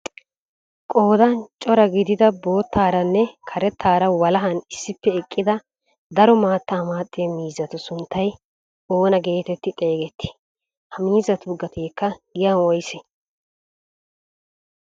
Qoodan cora gidida boottaaranne karettaara walahan issippe eqqida daro maattaa maaxiyaa miizzatu sunttay oona getetti xeegett? Ha miizzatu gateekka giyaan woysee?